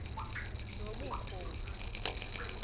nobukhosi